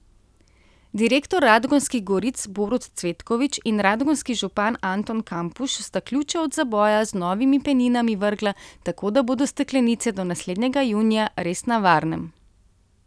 Direktor Radgonskih goric Borut Cvetkovič in radgonski župan Anton Kampuš sta ključe od zaboja z novimi peninami vrgla, tako da bodo steklenice do naslednjega junija res na varnem.